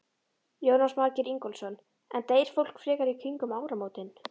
Jónas Margeir Ingólfsson: En deyr fólk frekar í kringum áramótin?